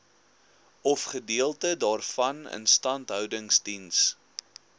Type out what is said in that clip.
ofgedeelte daarvan instandhoudingsdiens